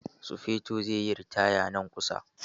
Sufeto zai yi ritaya nan kusa.